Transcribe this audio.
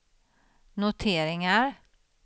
noteringar